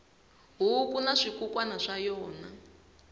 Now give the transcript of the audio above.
huku na swikukwana swa yona